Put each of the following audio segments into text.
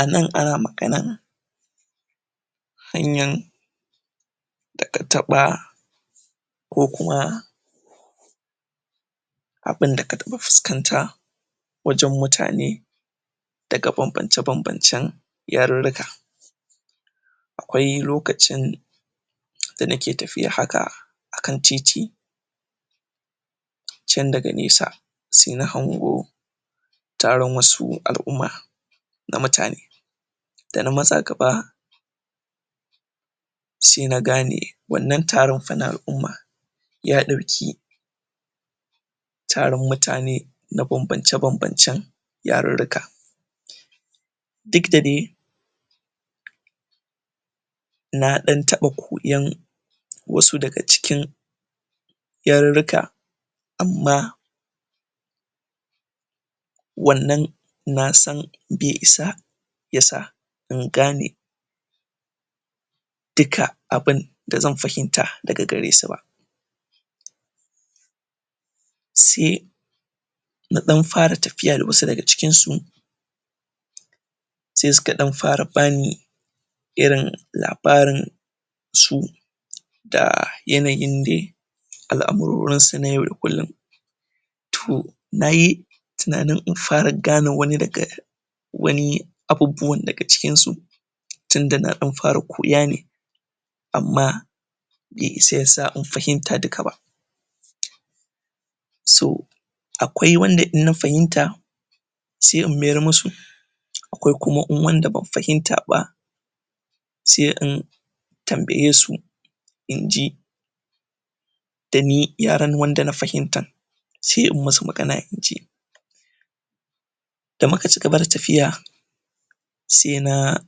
Anan ana magana hanyan da kataɓa ko kuma abin da kataɓa fuskanat wajan mutane daga banbance banbancen ya rirrika akwai lokacin da nake tafiya haka akan titi can daga nesa se na hango taron wasu al'umma na mutane da na matsa gaba se nagane wannan taronfa na al'umma yaɗauki taron mutane na banbance banbancen yarirrika dukda dai na ɗan taɓa koyan wasu daga cikin yarirrika amma wannan nasan be isa yasa in gane duka abin da zan fahimta daga garesu ba se na ɗan fara tafiya da wasu daga cikinsu se suka ɗan fara bani irin labarin su da yanayin dai al amurorinsu na yau da kullum to nayi tinanin infara gane wani daga wani abubuwan daga cikinsu tinda na ɗan fara koyane amma be isa yasa infahimta dukaba so akwai wanda in na fahimta se in mayar musu akwai kuma in wanda ban fahimta ba se in tambayesu inji dani yaran da na fahimta se in musu magana inji da muka ci gaba da tafiya se na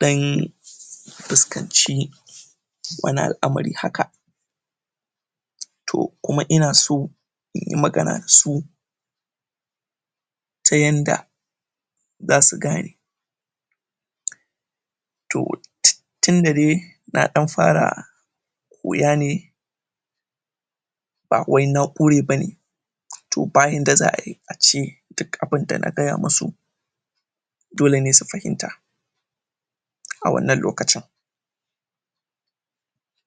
ɗan fuskanci wani al'amari haka to kuma inaso inyi magana dasu tayanda zasu gane to tinda dai na ɗan fara wiyane bawai na ƙure bane to bayanda za ayi ace duk abin dana gaya musu dolene su fahimta a wannan lokaci